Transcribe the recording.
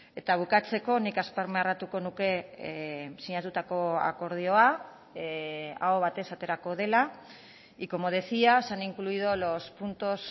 eta bukatzeko nik azpimarratuko nuke sinatutako akordioa aho batez aterako dela y como decía se han incluido los puntos